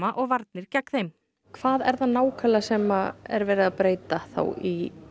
og varnir gegn þeim hvað er það nákvæmlega sem er verið að breyta í